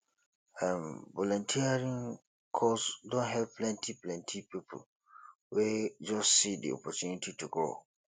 um volunteering cause don help plenty plenty people wey just see di opportunity to grow